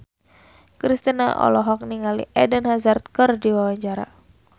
Kristina olohok ningali Eden Hazard keur diwawancara